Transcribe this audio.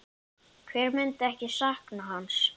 Hver myndi ekki sakna hans?